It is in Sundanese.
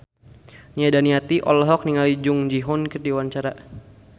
Nia Daniati olohok ningali Jung Ji Hoon keur diwawancara